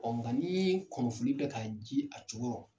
nka kunnafoni bɛ ka ji a cogorɔ.